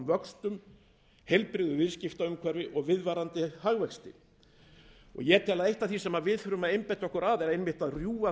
vöxtum heilbrigðu viðskiptaumhverfi og viðvarandi hagvexti ég tel að eitt af því sem við þurfum að einbeita okkur að sé einmitt að rjúfa þann